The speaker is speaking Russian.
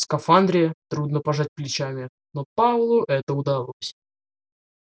в скафандре трудно пожать плечами но пауэллу это удалось